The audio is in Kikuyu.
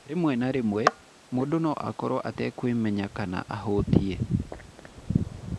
Rĩmwe na rĩmwe mũndũ no akorũo atekwĩmenya kana ahũtiĩ.